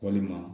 Walima